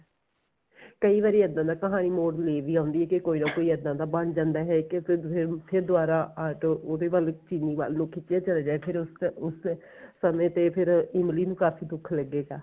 ਕਈ ਵਾਰੀ ਇੱਦਾਂ ਦਾ ਕਹਾਣੀ ਮੋੜ ਲੈ ਵੀ ਆਉਂਦੀ ਏ ਕੇ ਕੋਈ ਨਾ ਕੋਈ ਇੱਦਾਂ ਦਾ ਬਣ ਜਾਂਦਾ ਹੈ ਕੇ ਫੇਰ ਫੇਰ ਦੁਬਾਰਾ ਆਟੋ ਉਹਦੇ ਵੱਲ ਕੀ ਚੀਲੀ ਵੱਲ ਨੂੰ ਖਿਚਿਆ ਚਲਿਆ ਜਾਏ ਫੇਰ ਉਸ ਤੇ ਉਸ ਤੇ ਸਮੇ ਤੇ ਫੇਰ ਇਮਲੀ ਨੂੰ ਕਾਫੀ ਦੁੱਖ ਲੱਗੇਗਾ